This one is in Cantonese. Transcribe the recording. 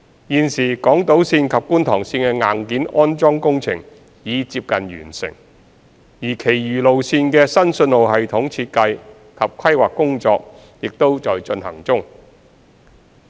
現時港島綫及觀塘綫的硬件安裝工程已接近完成，而其餘路線的新信號系統設計及規劃工作也在進行中。